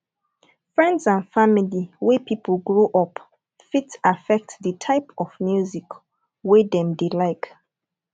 friends and family wey pipo grow up fit affect di type of music wey dem dey like